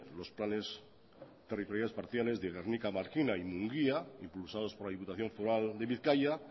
los planes territoriales parciales de gernika markina y mungia impulsados por la diputación foral de bizkaia